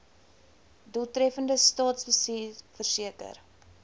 doeltreffende staatsbestuur verseker